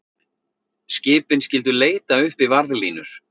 Skipin skyldu leita uppi varðlínur